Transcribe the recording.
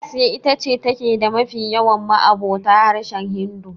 Asiya ita ce take da mafi yawan ma'abota harshen Hindu.